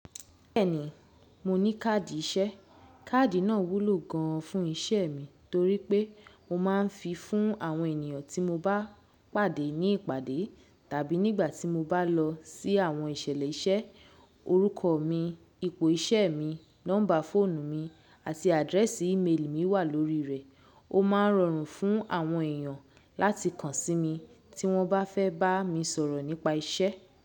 Bẹ́ẹ̀ni, mo ní káàdì iṣẹ́. Káàdì náà wúlò gan an fún iṣẹ́ mi torí pé mo ma ń fi fún àwọn ènìyàn tí mo bá pàdé ní ìpàdé tàbí nígbà tí mo bá lọ sí àwọn ìṣẹ̀lẹ̀ iṣẹ́. Orúkọ mi, ipò iṣẹ́ mi, nọ́mbà fóònù mi àti àdírẹ́sì ìméèlì mi wà lórí rẹ̀. Ó ma ń rọrùn fún àwọn èèyàn láti kan sí mi tí wọ́n bá fẹ́ bá mi sọ̀rọ̀ nípa iṣẹ́.